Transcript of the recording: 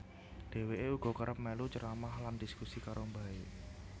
Dheweke uga kerep melu ceramah lan dhiskusi karo mbahe